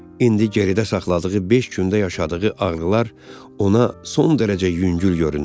İndi geridə saxladığı beş gündə yaşadığı ağrılar ona son dərəcə yüngül göründü.